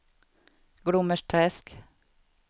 Glommersträsk